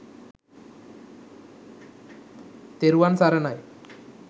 තෙරුවන් සරණයි